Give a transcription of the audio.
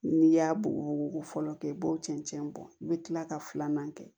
N'i y'a bugu fɔlɔ kɛ i b'o cɛncɛn bɔ i bɛ kila ka filanan kɛ